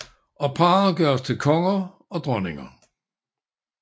Og parret gøres til konger og dronninger